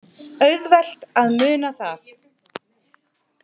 Auðvelt að muna það.